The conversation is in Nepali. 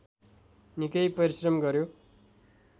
निकै परिश्रम गर्‍यो